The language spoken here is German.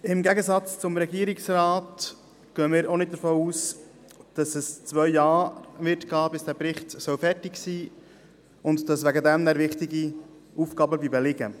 Im Gegensatz zum Regierungsrat gehen wir auch nicht davon aus, dass es zwei Jahre dauert, bis der Bericht fertig ist, und dass deshalb wichtig Aufgaben liegen bleiben.